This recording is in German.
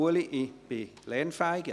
Ulrich Stähli, ich bin lernfähig.